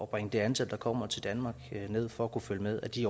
bringe det antal der kommer til danmark ned for at kunne følge med af de